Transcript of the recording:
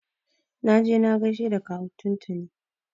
Na je na gaishe da kawu tun tuni.